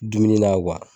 Dumuni na